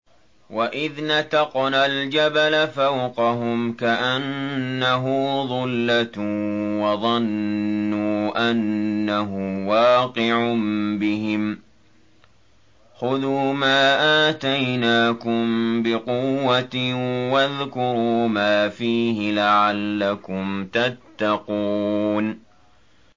۞ وَإِذْ نَتَقْنَا الْجَبَلَ فَوْقَهُمْ كَأَنَّهُ ظُلَّةٌ وَظَنُّوا أَنَّهُ وَاقِعٌ بِهِمْ خُذُوا مَا آتَيْنَاكُم بِقُوَّةٍ وَاذْكُرُوا مَا فِيهِ لَعَلَّكُمْ تَتَّقُونَ